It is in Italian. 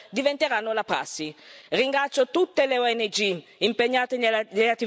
Ringrazio tutte le ONG impegnate nella attività di ricerca e salvataggio.